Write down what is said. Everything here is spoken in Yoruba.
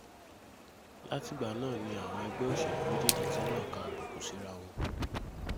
látìgbà náà ni àwọn ẹgbẹ́ òṣèlú méjèèjì ti ń nàka àbùkù síraa wọn